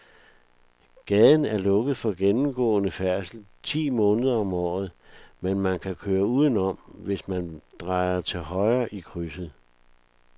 Gaden er lukket for gennemgående færdsel ti måneder om året, men man kan køre udenom, hvis man drejer til højre i krydset.